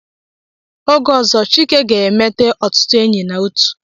Oge ọzọ Chike ga-emete ọtụtụ enyi na otu.